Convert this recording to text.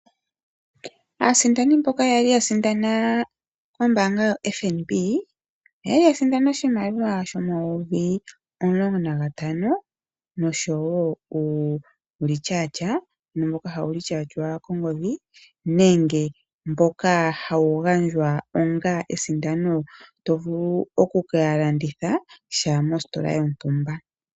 Aasindani mboka kwa li yasindana kombaanga yoFNB , okwa li yasindana oshimaliwa sho N$15000 noshowoo omathimbo ngoka haga tulwa kongodhi nenge mboka hawu gandjwa onga esindano, to vulu okukalanditha sha mositola yontumba.